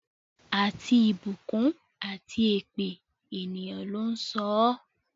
Àti ìbùkún àti èpè, ènìyàn ló ń sọ ọ́.